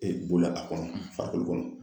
E ye a ko kɔnɔ fali kɔnɔ